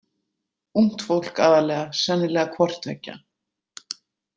Ungt fólk aðallega, sennilega hvorttveggja.